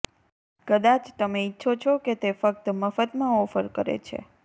કદાચ તમે ઇચ્છો છો કે તે ફક્ત મફતમાં ઓફર કરે છે